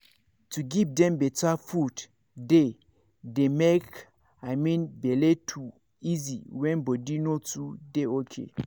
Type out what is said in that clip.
to give dem better food dey dey make i mean bele to easy when body no too dey ok.